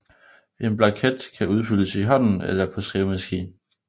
En blanket kan udfyldes i hånden eller på skrivemaskine